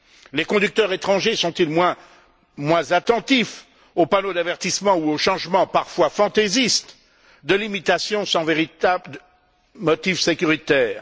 Les conducteurs étrangers sont ils moins attentifs aux panneaux d'avertissement ou aux changements, parfois fantaisistes, de limitation sans véritable motif sécuritaire?